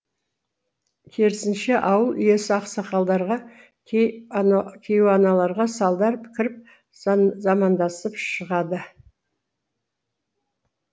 керісінше ауыл иесі ақсақалдарға кейуаналарға салдар кіріп замандасып шығады